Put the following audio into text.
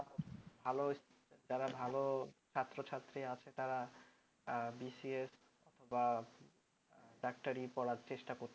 ভাল যারা ভাল ছাত্র ছাত্রী আছে তারা BCS বা ডাক্তারি পড়ার চেষ্টা করছে ।